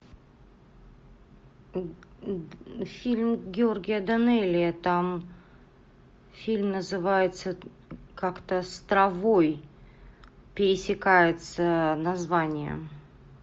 фильм георгия данелия там фильм называется как то с травой пересекается название